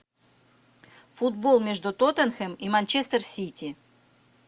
футбол между тоттенхэм и манчестер сити